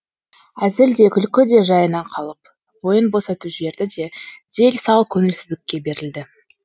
әзіл де күлкі де жайына қалып бойын босатып жіберді де дел сал көңілсіздікке берілді